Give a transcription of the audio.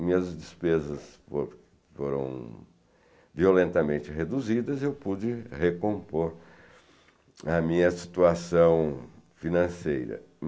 Minhas despesas fo foram violentamente reduzidas e eu pude recompor a minha situação financeira.